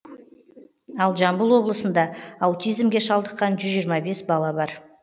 ал жамбыл облысында аутизмге шалдыққан жүз жиырма бес бала бар